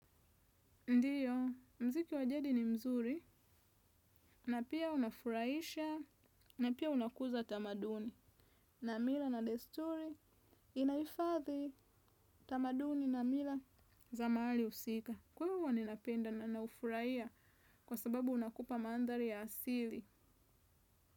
Ndiyo, muziki wa jadi ni mzuri, na pia unafurahisha, na pia unakuza tamaduni, na mila na desturi, inahifadhi tamaduni na mila za mahali husika. Kwahyo ninapenda na naufurahia kwa sababu unakupa mandhari ya asili.